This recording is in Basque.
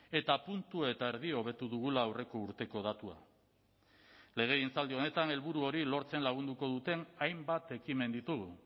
eta puntu eta erdi hobetu dugula aurreko urteko datua legegintzaldi honetan helburu hori lortzen lagunduko duten hainbat ekimen ditugu